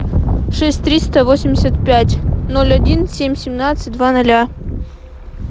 шесть триста восемьдесят пять ноль один семь семнадцать два ноля